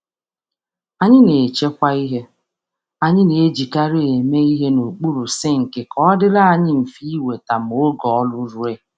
Anyị na-edobe ngwa anyị masịrị anyị n’okpuru sinki ka anyị nwee ike iji ha ngwa ngwa n’oge ọrụ ụlọ.